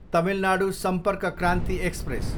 Tamil Nadu Sampark Kranti express